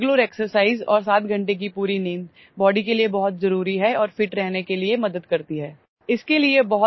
regular exercise और 7 घंटे की पूरी नींद ବଡି के लिए बहुतजरूरी है और ଫିଟ୍ रहने के लिए मदद करती है